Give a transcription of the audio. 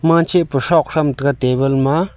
manzeh pu shrog sham taga table ma a.